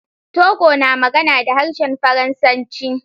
Togo na magana da harshen Faransanci.